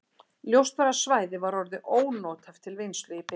Ljóst var að svæðið var orðið ónothæft til vinnslu í bili.